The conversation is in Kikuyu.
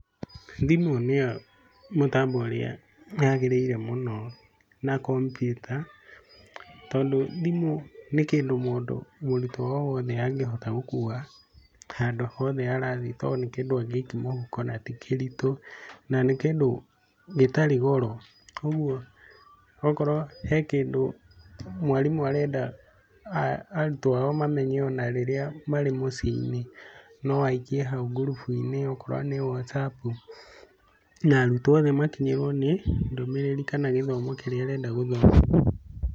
Thimũ nĩyo mũtambo ũrĩa yagĩrĩire mũno na kombiuta. Tondũ thimũ nĩ kĩndũ mũrutwo o wothe angĩhota gũkua handũ hothe arathiĩ tondũ nĩ kĩndũ angĩikia mũhuko na ti kĩritũ. Na nĩ kĩndũ gĩtarĩ goro. Ũguo okorwo he kĩndũ mwarimũ arenda arutwo ao mamenye ona rĩrĩa marĩ mũciĩ-inĩ, no aikie hau ngurubu-inĩ okorwo nĩ Whatsapp. Na arutwo othe makinyĩrwo nĩ ndũmĩrĩri kana gĩthomo kĩrĩa arenda mathome.